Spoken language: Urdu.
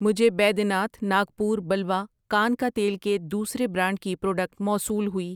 مجھے بیدیناتھ ناگپور بلوا کان کا تیل کے دوسرے برانڈ کی پراڈکٹ موصول ہوئی۔